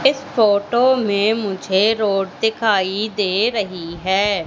इस फोटो में मुझे रोड दिखाई दे रही है।